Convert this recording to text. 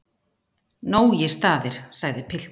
Nógir staðir, sagði pilturinn.